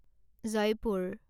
Jaipur